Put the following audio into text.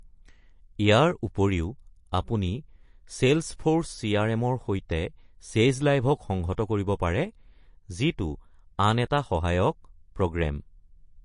ইয়াৰ উপৰিও, আপুনি চেলচ্‌ফ'ৰ্চ চি.আৰ.এম.-ৰ সৈতে চেজ লাইভক সংহত কৰিব পাৰে, যিটো আন এটা সহায়ক প্ৰ'গ্ৰেম।